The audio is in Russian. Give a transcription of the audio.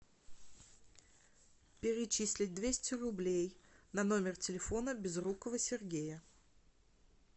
перечислить двести рублей на номер телефона безрукова сергея